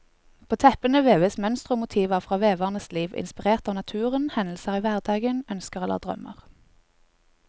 På teppene veves mønstre og motiver fra veverens liv, inspirert av naturen, hendelser i hverdagen, ønsker eller drømmer.